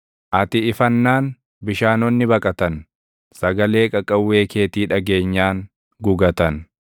Ati ifannaan bishaanonni baqatan; sagalee qaqawwee keetii dhageenyaan gugatan.